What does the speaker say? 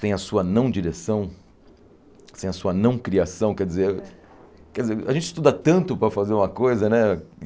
Sem a sua não-direção, sem a sua não-criação, quer dizer quer dizer, a gente estuda tanto para fazer uma coisa, né?